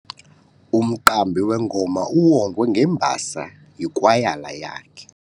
Umqambi wengoma uwongwe ngembasa yikwayala yakhe.